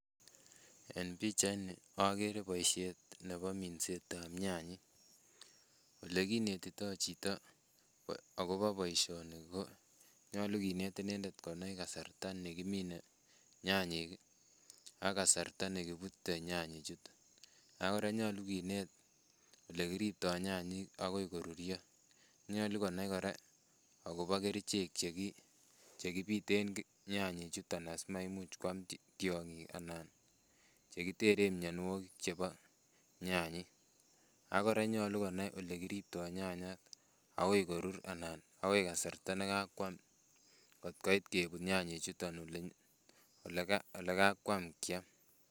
En pichait ni agere baisheet nebo mindset ab nyanyek ole kinetitoi chitoo agobo boisioni ko nyaluu kineet inendet konai kasarta nekiminee nyanyiik ii ak kasarta nekibutee nyanyiik chutoon ako kora nyaluu kineet Le kiriptoi nyanyiik agoi koruria, nyaluu konai kora agobo kercheek chekibiteen nyanyek chutoon asimamuuch koyaam tiangik, chekiteren mianwagik che bo nyanyiik ago kora nyaluu konai olekiriptoi nyanyiik agoi koruria. agoi kasarta nekakwaam koot koit kebuut nyanyek chutoon ole kakwaam kyame.